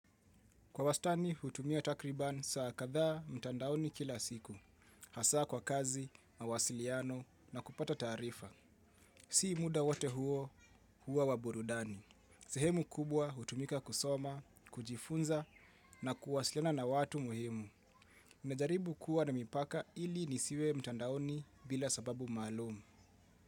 Kwa wastani, hutumia takriban saa kadhaa mtandaoni kila siku. Hasaa kwa kazi, mawasiliano na kupata taarifa. Si muda wote huo, hua waburudani. Sehemu kubwa hutumika kusoma, kujifunza na kuwasiliana na watu muhimu. Nmejaribu kuwa na mipaka ili nisiwe mtandaoni bila sababu maalum.